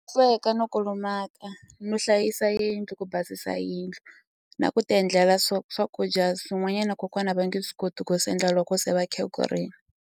Sweka no kulumaka no hlayisa yindlu ku basisa yindlu na ku ti endlela swo swakudya swin'wanyana kokwana va nge swi koti ku swi endla loko se va khegurini.